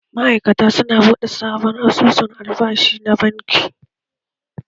Ma'aikatan su na buɗe sabon asusun albashi a banki.